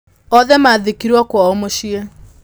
Othe maathikirũo kwao mũciĩ.